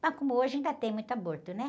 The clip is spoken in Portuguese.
Mas como hoje ainda tem muito aborto, né?